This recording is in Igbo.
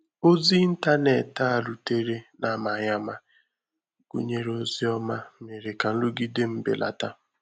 Òzí ìntànétì a rùtèrè n’amaghị ama gụ́nèrè òzí ọ́mà, méèrè ka nrụgide m belàtà